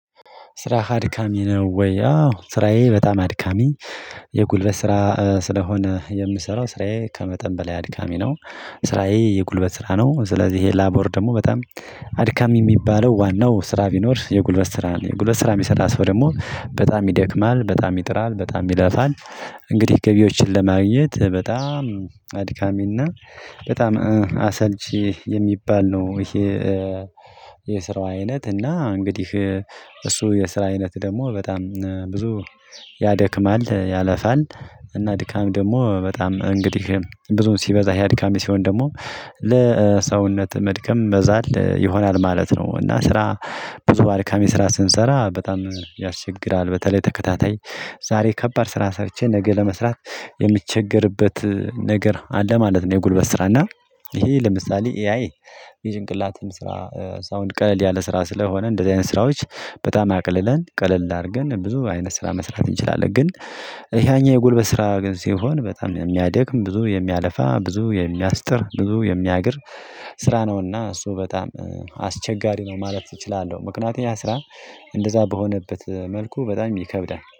ስራ አድካሚ ነው ወይ? አዎ ስራዬ በጣም አድካሚ የጉልበት ስራ ስለሆነ የምሰራው ስራዬ ከመጠን በላይ አድካሚ ነው። ስራዬ የጉልበት ስራ ነው ስለዚህ ይሄ ላቦር ደግሞ በጣም አድካሚ የሚባለው ዋናው ስራ ቢኖር የጉልበት ስራ የጉልበት ስራ የሚሰራ ስራ ደግሞ በጣም ይደክማል በጣም ይጥራል በጣም ይለፋል። እንግዲህ ገቢዎችን ለማግኘት በጣም አድካሚ እና በጣም አሰልቺ የሚባል ነው። ይሄ የስራው አይነት እና እንግዲህ እሱ የስራ አይነት ደግሞ በጣም ብዙ ያደክማል ያለፋል። እና ድካም ደግሞ በጣም እንግዲህ ብዙም ሲበዛ ይሄ አድካሚ ሲሆን ደግሞ ለሰውነት መድከም መዛል ይሆናል ማለት ነው። እና ስራ ብዙ አድካሚ ስንሰራ በጣም ያስቸግራል። በተለይ ተከታታይ ዛሬ ከባድ ስራ ሰርቼ ነገ ለመስራት የምትቸገርበት ነገር አለ ማለት ነው። የጉልበት ስራ እና ይሄ ለምሳሌ ኤአይ የጭንቅላትን ስራ ሳውንድ ቀለል ያለ ስራ ስለሆነ እንደዚህ አይነት ስራዎች በጣም አቀልለን ቀለል አድርገን ብዙ አይነት ስራ መስራት እንችላለን። ግን ያኛው የጉልበት ስራ ግን ሲሆን በጣም የሚያደክም ብዙ የሚያለፋ ብዙ የሚያስጥር ብዙ የሚያግር ስራ ነውእና እሱ በጣም አስቸጋሪ ነው ማለት እችላለሁ። ምክንያቱም ያ ስራ እንደዛ በሆነበት መልኩ በጣም ይከብዳል